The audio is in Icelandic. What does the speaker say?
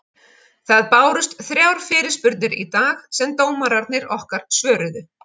Það bárust þrjár fyrirspurnir í dag sem dómararnir okkar svöruðu.